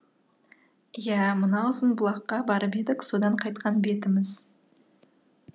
иә мына ұзынбұлаққа барып едік содан қайтқан бетіміз